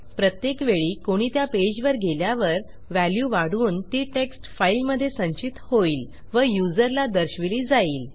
प्रत्येक वेळी कोणी त्या पेजवर गेल्यावर व्हॅल्यू वाढून ती टेक्स्ट फाईलमधे संचित होईल व युजरला दर्शविली जाईल